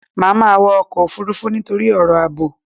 Mo máa wọ ọkọ̀ Òfurufú nítorí ọ̀rọ̀ àbò.